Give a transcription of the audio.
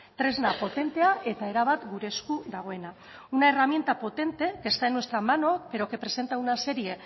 tresna potentea eta erabat gure esku dagoena una herramienta potente que está en nuestra mano pero que presenta una serie